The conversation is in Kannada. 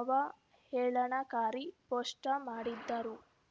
ಅವಹೇಳನಕಾರಿ ಪೋಸ್ಟ್ಟಾ ಮಾಡಿದ್ದರು